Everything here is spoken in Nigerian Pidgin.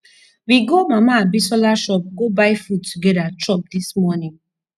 we go mama abiola shop go buy food together chop dis morning